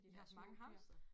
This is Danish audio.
I haft mange hamstere?